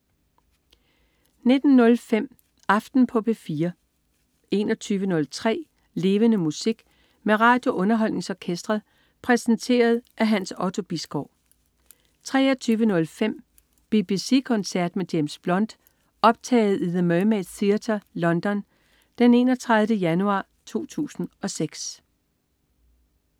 19.05 Aften på P4 21.03 Levende Musik. Med RadioUnderholdningsOrkestret. Præsenteret af Hans Otto Bisgaard 23.05 BBC koncert med James Blunt. Optaget i The Mermaid Theatre, London den 31. januar 2006